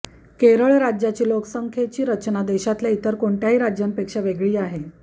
केरळ राज्याची लोकसंख्येची रचना देशातल्या इतर कोणत्याही राज्यांपेक्षा वेगळी आहे